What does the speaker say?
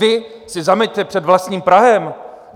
Vy si zameťte před vlastním prahem!